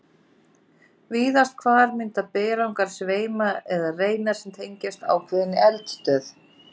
Víðast hvar mynda berggangar sveima eða reinar sem tengjast ákveðinni eldstöð.